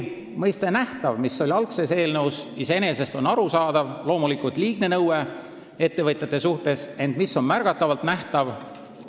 Mõiste "nähtav", mis algul eelnõus oli, on iseenesest arusaadav, see oli muidugi liigne nõue ettevõtjate suhtes, ent mis on "märgatavalt nähtav"?